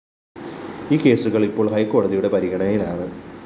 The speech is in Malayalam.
ഈ കേസുകള്‍ ഇപ്പോള്‍ ഹൈക്കോടതിയുടെ പരിഗണനയിലാണ്